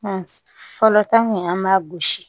fɔlɔ ta kun an b'a gosi